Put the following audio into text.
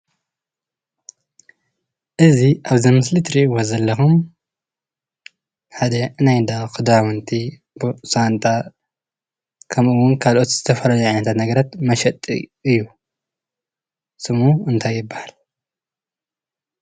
እዚ አብዛ ምስሊ እትሪኢዎ ዘለኩም ሓደ ናይ 'ንዳ ክዳውንቲ ሳንጣ ከምኡ እውን ካልኦት ዝተፈላለዩ ዓይነታት ነገራት መሸጢ እዩ፡፡ ስሙ እንታይ ይበሃል?